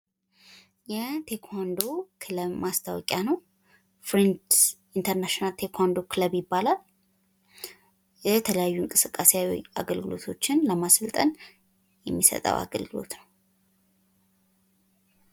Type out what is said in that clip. የቴኳንዶ ክለብ ማስታወቂያ ነው። ፍሬንድስ ኢንተርናሽናል ቴኳንዶ ክለብ ይባላል። የተለያዩ እንቅስቃሴ አገልግሎቶችን ለማሰልጠን የሚሰጠው አገልግሎት ነው።